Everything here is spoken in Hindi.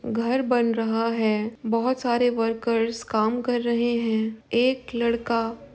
घर बन रहा है। बहोत सारे वर्कर्स काम कर रहे हैं। एक लड़का --